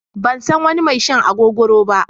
Ban san wani mai shan agogoro ba.